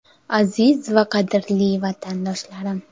Aziz va qadrli vatandoshlarim!